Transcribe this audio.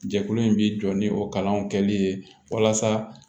Jɛkulu in bi jɔ ni o kalanw kɛli ye walasa